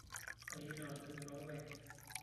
Kayierita olgali loorpayek.